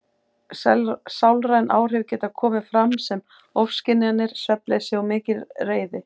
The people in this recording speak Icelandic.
Sálræn áhrif geta komið fram sem ofskynjanir, svefnleysi og mikil reiði.